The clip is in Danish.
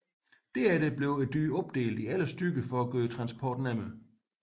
Derefter blev dyret opdelt i 11 stykker for at gøre transporten nemmere